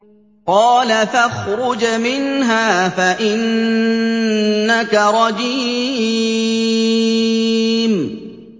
قَالَ فَاخْرُجْ مِنْهَا فَإِنَّكَ رَجِيمٌ